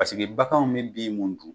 Pasiki baganw bɛ bin mun dun.